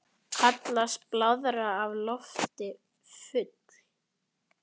Kallast blaðra af lofti full.